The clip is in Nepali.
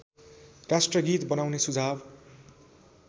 राष्ट्रगीत बनाउने सुझाव